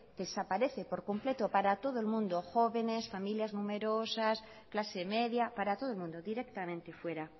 desaparece por completo para todo el mundo jóvenes familias numerosas clase media para todo el mundo directamente fuera